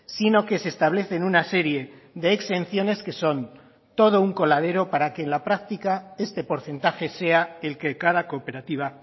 sino que se establecen una serie de exenciones que son todo un coladero para que en la práctica este porcentaje sea el que cada cooperativa